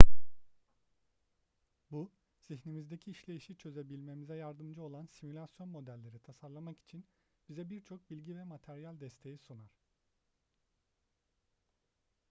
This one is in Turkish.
bu zihnimizdeki işleyişi çözebilmemize yardımcı olan simülasyon modelleri tasarlamak için bize birçok bilgi ve materyal desteği sunar